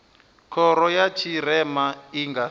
khoro ya tshirema i nga